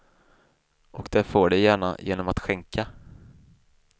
Och det får de gärna, genom att skänka.